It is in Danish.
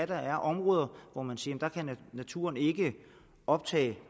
der er områder hvor man siger at naturen ikke kan optage